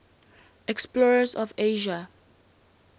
explorers of asia